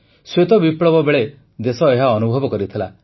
ଶ୍ୱେତ ବିପ୍ଳବ ବେଳେ ଦେଶ ଏହା ଅନୁଭବ କରିଥିଲା